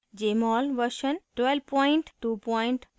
jmol version 1222